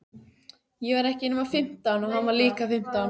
Ég var ekki nema fimmtán og hann var líka fimmtán.